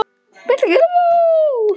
Birta getur átt við